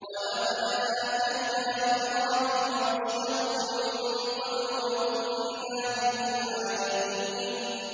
۞ وَلَقَدْ آتَيْنَا إِبْرَاهِيمَ رُشْدَهُ مِن قَبْلُ وَكُنَّا بِهِ عَالِمِينَ